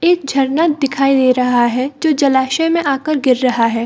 एक झरना दिखाई दे रहा है जो जलाशय में आ कर गिर रहा है।